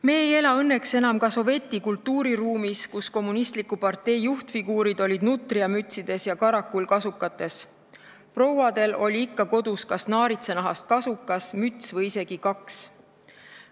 Me ei ela õnneks enam ka sovetlikus kultuuriruumis, kui kommunistliku partei juhtfiguurid olid nutriamütsides ja karakullkasukates ning prouadel oli ikka kodus naaritsanahast kasukas, müts või isegi kaks.